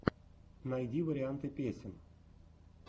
найди варианты песен